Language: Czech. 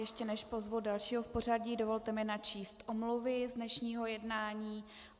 Ještě než pozvu dalšího v pořadí, dovolte mi načíst omluvy z dnešního jednání.